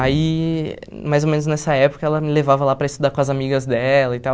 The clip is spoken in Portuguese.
Aí, mais ou menos nessa época, ela me levava lá para estudar com as amigas dela e tal.